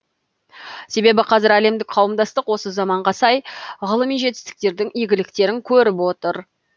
себебі қазір әлемдік қауымдастық осы заманға сай ғылыми жетістіктердің игіліктерін көріп отыр